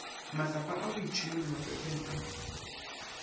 matsapa a boitšhomelo mafapheng a